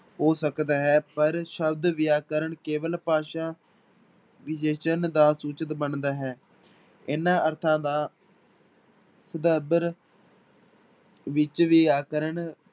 ਹੋ ਸਕਦਾ ਹੈ ਪਰ ਸ਼ਬਦ ਵਿਆਕਰਨ ਕੇਵਲ ਭਾਸ਼ਾ ਵਿਸ਼ੇਸ਼ਣ ਦਾ ਸੂਚਕ ਬਣਦਾ ਹੈ, ਇਹਨਾਂ ਅਰਥਾਂ ਦਾ ਵਿੱਚ ਵਿਆਕਰਨ